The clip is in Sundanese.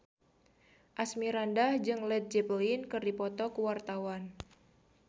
Asmirandah jeung Led Zeppelin keur dipoto ku wartawan